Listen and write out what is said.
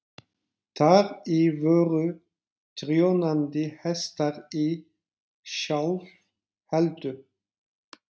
Þar í voru prjónandi hestar í sjálfheldu.